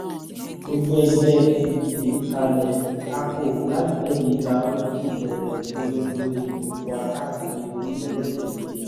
ojú ẹgbẹ́ pdp kalẹ̀ kákò láìpẹ́ yìí la ó sì bẹ̀rẹ̀ ìpolongo ìbò wa káàkiri orílẹ̀-èdè yìí